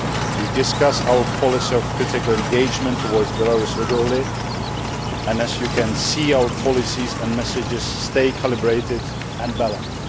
We discuss our policy of critical engagement towards Belarus regularly and, as you can see, our policies and messages stay calibrated and balanced.